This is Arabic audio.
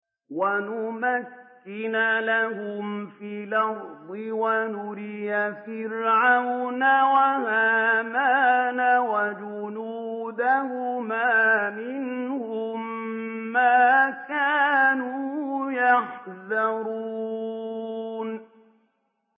وَنُمَكِّنَ لَهُمْ فِي الْأَرْضِ وَنُرِيَ فِرْعَوْنَ وَهَامَانَ وَجُنُودَهُمَا مِنْهُم مَّا كَانُوا يَحْذَرُونَ